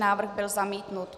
Návrh byl zamítnut.